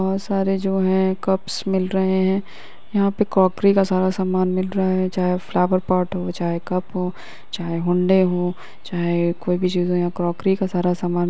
बहुत सारे जो हैं कपस मिल रहे हैं। यहाँं पे कोकरी का सारा सामान मिल रहा है चाहे फ्लावर पोट हो चाहे कप हो चाहे हुन्दे हो चाहे कोई भी चीज़ हो यहाँं कोकरी का सारा सामान --